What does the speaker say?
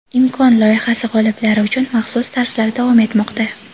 "Imkon" loyihasi g‘oliblari uchun maxsus darslar davom etmoqda.